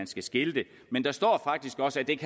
skal skilte men der står faktisk også at det